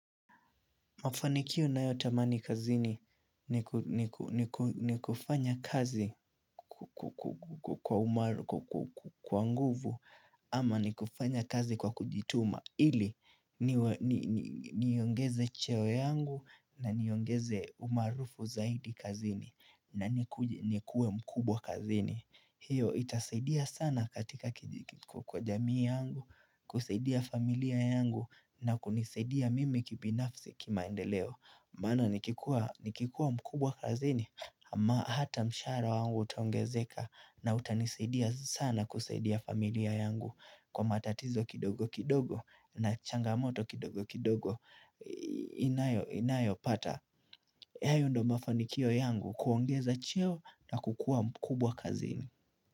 Mafanikio ninayotamani kazini ni ni kufanya kazi kwa umaarufu kwa nguvu ama ni kufanya kazi kwa kujituma ili niongeze cheo yangu na niongeze umaarufu zaidi kazini na nikuwe mkubwa kazini. Hiyo itasaidia sana katika kwa jamii yangu, kusaidia familia yangu na kunisadia mimi kibinafsi kimaendeleo maana nikikua mkubwa kazini ama hata mshahara wangu utaongezeka na utanisadia sana kusaidia familia yangu Kwa matatizo kidogo kidogo na changamoto kidogo kidogo inayo pata hayo ndio mafanikio yangu kuongeza cheo na kukua mkubwa kazini.